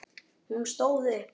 Hún stóð upp.